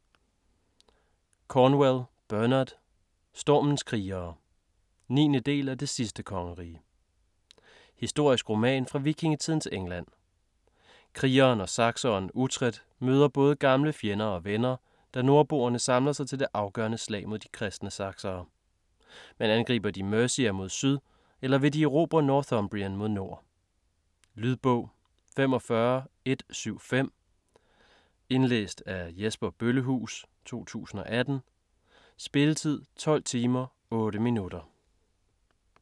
Cornwell, Bernard: Stormens krigere 9. del af Det sidste kongerige. Historisk roman fra vikingetidens England. Krigeren og sakseren Uhtred møder både gamle fjender og venner, da nordboerne samler sig til det afgørende slag mod de kristne saksere. Men angriber de Mercia mod syd eller vil de erobre Northumbrien mod nord? Lydbog 45175 Indlæst af Jesper Bøllehuus, 2018. Spilletid: 12 timer, 8 minutter.